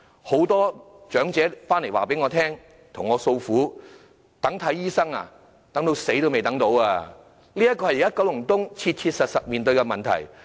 很多長者向我訴苦，等候求診，待至死亡也等不到，這是九龍東現時切實面對的問題。